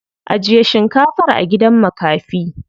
Ajiye shinkafar a gidan makafi.